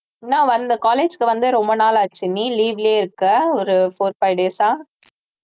என்ன வந்து college க்கு வந்து ரொம்ப நாள் ஆச்சு நீ leave லயே இருக்க ஒரு four five days ஆ